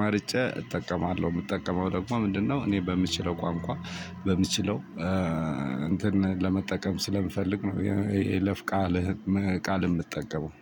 መርጬ እጠቀማለሁ። የምጠቀመው ደግሞ ምንድነው እኔ በምችለው ቆንቆ በምችለው እንትን ለመጠቀም ስለምፈልግ ነው የለፍ ቃልህ ቃል የምጠቀመው